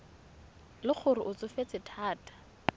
le gore o tsofetse thata